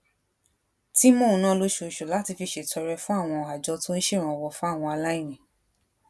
tí mò ń ná lóṣooṣù láti fi ṣètọrẹ fún àwọn àjọ tó ń ṣèrànwó fáwọn aláìní